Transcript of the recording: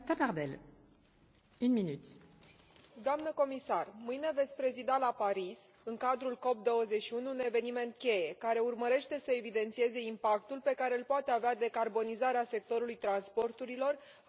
Doamnă comisar, mâine veți prezida la Paris în cadrul COP 21, un eveniment cheie, care urmărește să evidențieze impactul pe care îl poate avea decarbonizarea sectorului transporturilor asupra relansării economice la nivel european.